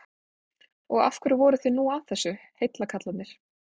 Og af hverju voruð þið nú að þessu, heillakarlarnir?